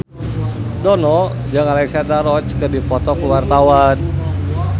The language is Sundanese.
Dono jeung Alexandra Roach keur dipoto ku wartawan